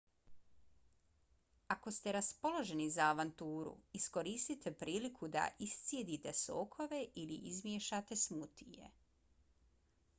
ako ste raspoloženi za avanturu iskoristite priliku da iscijedite sokove ili izmiješate smutije: